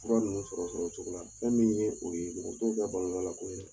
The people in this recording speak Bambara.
Fura ninnu sɔrɔ sɔrɔ cogo la fɛn min ye o ye, mɔgɔ t'o ka bana la ko ye